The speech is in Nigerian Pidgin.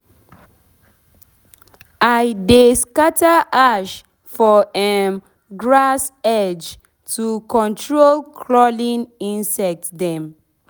i de scatter ash for um edge of grass to control crawling insect dem